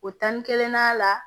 O tan ni kelen na la